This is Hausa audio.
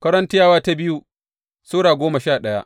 biyu Korintiyawa Sura goma sha daya